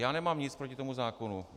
Já nemám nic proti tomu zákonu.